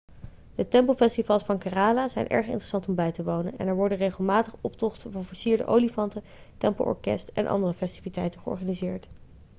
de tempelfestivals van kerala zijn erg interessant om bij te wonen en er worden regelmatig optocht van versierde olifanten tempelorkest en andere festiviteiten georganiseerd